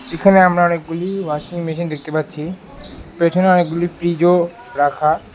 এখানে আমরা অনেকগুলি ওয়াশিং মেশিন দেখতে পাচ্ছি পেছনে অনেকগুলি ফ্রিজও রাখা।